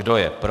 Kdo je pro?